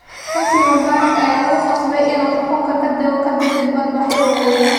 Xusni Mubaarak ayaa lagu qasbay inuu xukunka ka dego ka dib dibadbaxyo waaweyn